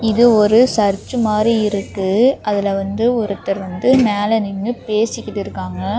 இது ஒரு சர்ச் மாரி இருக்கு அதுல வந்து ஒருத்தர் வந்து மேல நின்னு பேசிகிட்டு இருக்காங்க.